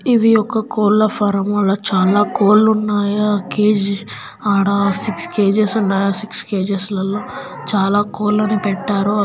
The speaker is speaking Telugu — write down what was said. ఇవి ఒక కోళ్ల ఫారం. చాలా కోళ్లు ఉన్నాయి. కేజీ ఆడ సిక్స్ కేజెస్ కేజీ సిక్స్ కేజెస్లలో చాలా కోళ్లను పెట్టారు.